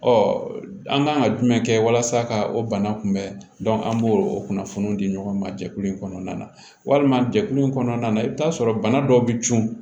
Ɔ an kan ka jumɛn kɛ walasa ka o bana kunbɛn an b'o o kunnafoni di ɲɔgɔn ma jɛkulu in kɔnɔna na walima jɛkulu in kɔnɔna na i bɛ taa sɔrɔ bana dɔw bɛ cun